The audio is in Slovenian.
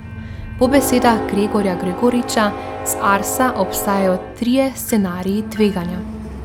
Po besedah Gregorja Gregoriča z Arsa obstajajo trije scenariji tveganja.